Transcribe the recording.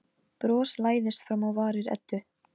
Ég hugsa að hann sé svangur sagði Eiríkur.